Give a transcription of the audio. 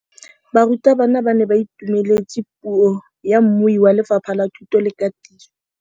Barutabana ba ne ba itumeletse puô ya mmui wa Lefapha la Thuto le Katiso.